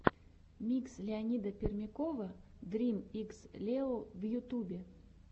микс леонида пермякова дрим икс лео в ютубе